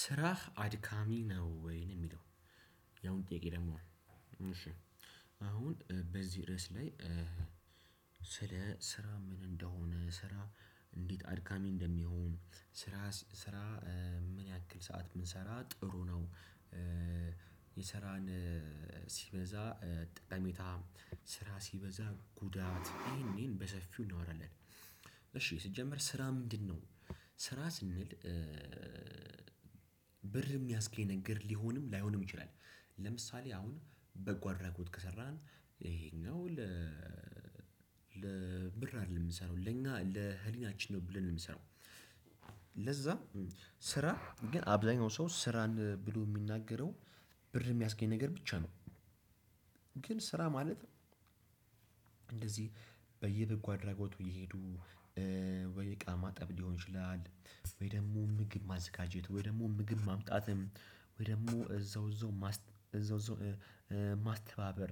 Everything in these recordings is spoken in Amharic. ስራህ አድካሚ ነው ወይ የሚለው? ያሁን ጥያቄ ደግሞ አሁን በዚህ ርዕስ ላይ ስለ ስራ ምን እንደሆነ ስራ እንዴት አድካሚ እንደሚሆን? ስራ ስራ ምን ያክል ሰዓት ብንሰራ ጥሩ ነው። የስራን ሲበዛ ጠቀሜታ ስራ ሲበዛ ጉዳት ይሄንን በሰፊው እናወራለን። እሺ ሲጀምር ስራ ምንድነው? ስራ ስንል ብር የሚያስገኝ ነገር ሊሆንም ላይሆንም ይችላል። ለምሳሌ አሁን በጎ አድራጎት ከሰራን ይሄኛው ለብር አይደለም የምንሰራው ለኛ ለህሊናችን ነው ብለን የምንሰራው። ለዛ ስራ ግን አብዛኛው ሰው ስራን ብሎ የሚናገረው ብር የሚያስገኝ ነገር ብቻ ነው። ግን ስራ ማለት እንደዚህ በየበጎ አድራጎቱ እየሄዱ ወይ እቃ ማጠብ ሊሆን ይችላል። ወይ ደግሞ ምግብ ማዘጋጀት ወይ ደግሞ ምግብ ማምጣትም ወይ ደግሞ እዛው እዛው እዛው ማስተባበር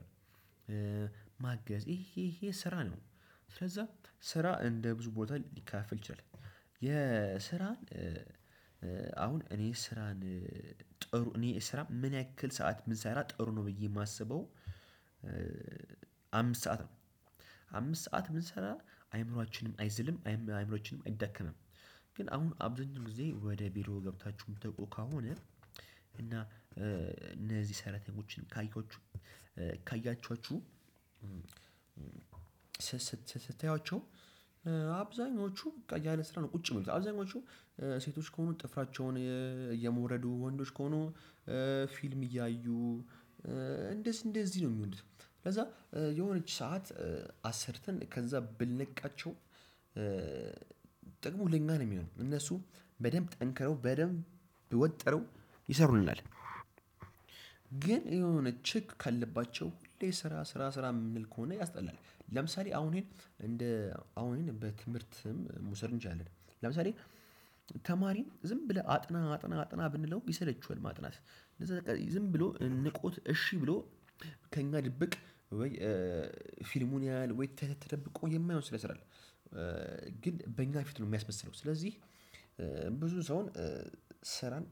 ማገዝ ይሄ ይሄ ስራ ነው። ስለዛ ስራ እንደ ብዙ ቦታ ሊካፈል ይችላል። የስራን አሁን እኔ ስራን ጥሩ እኔ ስራ ምን ያክል ሰዓት ብንሰራ ጥሩ ነው ብዬ የማስበው። አምስት ሰዓት ነው። አምስት ሰዓት ብንሰራ አይምሮአችንም አይዘልም አይምሮአችንም አይዳከምም። ግን አሁን አብዛኛው ጊዜ ወደ ቢሮ ገብታችሁ የምትወቁ ከሆነ እና እነዚህ ሰራተኞችን ካያችሁ ካያችኋችሁ ስታያዋቸው አብዛኞቹ በቃ ያለ ስራ ነው ቁጭ የሚሉት አብዛኞቹ ሴቶች ከሆኑ ጥፍራቸውን እየሞረዱ ወንዶች ከሆኑ ፊልም እያዩ እንደዚህ ነው የሚውሉት። ከዛ የሆነች ሰዓት አሰርተን ከዛ ብንለቃቸው ጥቅሙ ለኛ ነው የሚሆነው እነሱ በደንብ ጠንክረው በደንብ ወጥረው ይሰሩናል። ግን የሆነ ችክ ካልንባቸው ሁሌ ስራ ስራ ስራ የምንል ከሆነ ያስጠላል። ለምሳሌ አሁን ይሄን እንደ በትምህርትም መውሰድ እንችላለን። ለምሳሌ ተማሪን ዝም ብለህ አጥና አጥና አጥና ብንለው ይሰለቸዋል። ማጥናት እንደዛ ዝም ብሎ ንቆት እሺ ብሎ ከእኛ ድብቅ ወይ ፊልሙን ያህል ወይ ተደብቆ የማይሆን ሰራ ይሰራል። ግን በእኛ ፊት ነው የሚያስመስለው ስለዚህ ብዙ ሰውን ስራን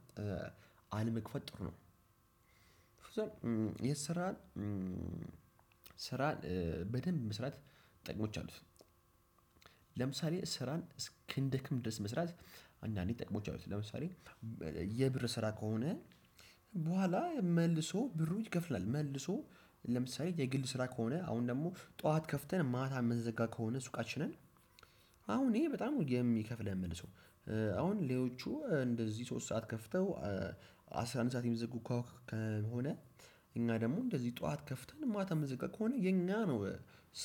አለመግፋት ጥሩ ነው። የስራን ስራን በደንብ መስራት ጥቅሞች አሉት። ለምሳሌ ስራን እስክንደክም ድረስ መስራት አንዳንዴ ጥቅሞች አሉት ለምሳሌ የብር ስራ ከሆነ በኋላ መልሶ ብሩ ይከፍላል። መልሶ ለምሳሌ የግል ስራ ከሆነ አሁን ደግሞ ጠዋት ከፍተን ማታ የምንዘጋ ከሆነ ሱቃችንን አሁን ይሄ በጣም የሚከፍለን መልሶ አሁን ሌሎቹ እንደዚህ ሶስት ሰዓት ከፍተው አስራ አንድ ሰዓት የሚዘጉ ከሆነ እኛ ደግሞ እንደዚህ ጠዋት ከፍተን ማታ የምንዘጋ ከሆነ የኛ ነው።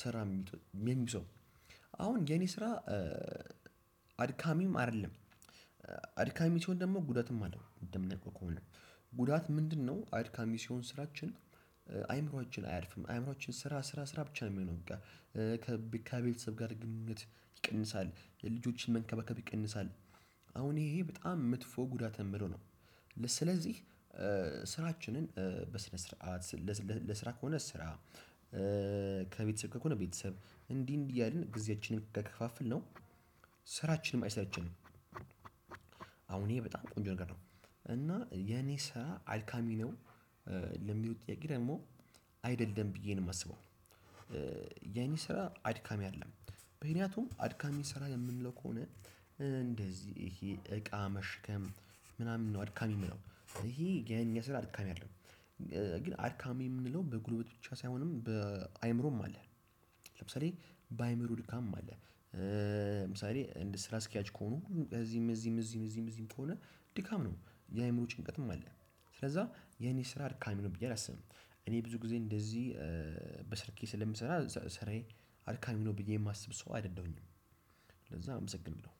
ስራ የሚይዘው አሁን የኔ ስራ አድካሚም አይደለም። አድካሚ ሲሆን ደግሞ ጉዳትም አለው እንደ ምናቀው ከሆነ ጉዳት ምንድነው? አድካሚ ሲሆን ስራችን አይምሮአችን አያርፍም አይምሮአችን ስራ ስራ ስራ ብቻ ነው የሚሆነው። በቃ ከቤተሰብ ጋር ግንኙነት ይቀንሳል የልጆችን መንከባከብ ይቀንሳል። አሁን ይሄ በጣም መጥፎ ጉዳት የምለው ነው። ስለዚህ ስራችንን በስነ ስርዓት ለስራ ከሆነ ስራ ከቤተሰብ ከሆነ ቤተሰብ እንዲህ እንዲህ እያልን ጊዜያችንን ከከፋፈልነው ስራችንም አይሰለቸንም። አሁን ይሄ በጣም ቆንጆ ነገር ነው። እና የኔ ስራ አድካሚ ነው። ለሚሉት ጥያቄ ደግሞ አይደል ደሞ ብዬ ነው የማስበው። የኔ ስራ አድካሚ አይደለም። ምከንያቱም አድካሚ ስራ የምንለው ከሆነ እንደዚህ ይሄ እቃ መሸከም ምናምን ነው አድካሚ የሚሆነው ይሄ የኛ ስራ አድካሚ አይደለም። ግን አድካሚ የምንለው በጉልበት ብቻ ሳይሆንም በአእምሮም አለ። ለምሳሌ በአይምሮ ድካምም አለ። ለምሳሌ እንደ ስራ አስኪያጅ ከሆኑ እዚህም እዚህም እዚህም እዚህም ከሆነ ድካም ነው። የአእምሮ ጭንቀትም አለ። ስለዛ የኔ ስራ ድካሜ ነው ብዬ አላስብም። እኔ ብዙ ጊዜ እንደዚህ በስልኬ ስለምሰራ ስራዬ አድካሚ ነው ብዬ የማስብ ሰው አይደለሁኝም። ለዛ አመሰግናለሁ።